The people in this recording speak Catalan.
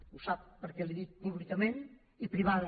ho sap perquè li ho he dit públicament i privada